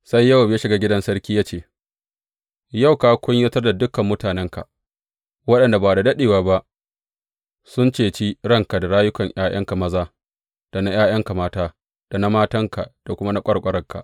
Sai Yowab ya shiga gidan sarki ya ce, Yau ka kunyatar da dukan mutanenka, waɗanda ba da daɗewa ba sun ceci ranka, da rayukan ’ya’yanka maza, da na ’ya’yanka mata, da na matanka da kuma na ƙwarƙwaranka.